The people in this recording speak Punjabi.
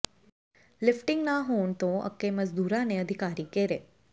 ਲਿਫਟਿੰਗ ਨਾ ਹੋਣ ਤੋਂ ਅੱਕੇ ਮਜ਼ਦੂਰਾਂ ਨੇ ਅਧਿਕਾਰੀ ਘੇਰੇ